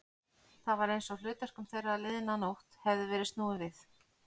Það var einsog hlutverkum þeirra liðna nótt hefði verið snúið við.